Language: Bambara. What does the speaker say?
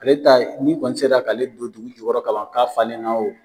Ale ta ye ni kɔni sela k'ale don dugu jɔyɔrɔ ka ban ka falen na wo.